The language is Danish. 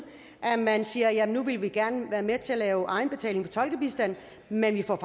at man siger jamen nu vil vi gerne være med til at lave egenbetaling for tolkebistand men vi får